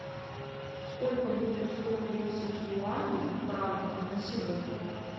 сколько будет сто тридцать юаней в франках на сегодня